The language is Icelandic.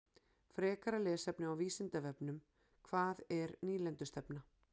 Frekara lesefni á Vísindavefnum: Hvað er nýlendustefna?